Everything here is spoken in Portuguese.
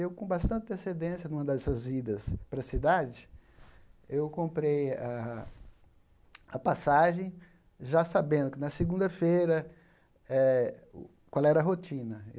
Eu, com bastante antecedência em uma dessas idas para a cidade, eu comprei a a passagem já sabendo que na segunda-feira eh, qual era a rotina.